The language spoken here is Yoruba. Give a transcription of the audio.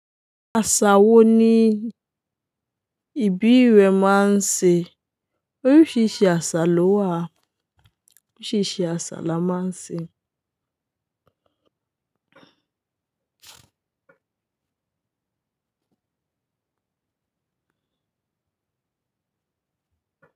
Àṣa wo ni ìbí rẹ máa ń ṣe? Oríṣiríṣi àṣà ló wà. Oríṣiríṣi àṣà la máa ń ṣe.